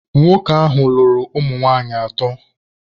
Nwoke ahụ lụrụ ụmụ nwaanyị atọ.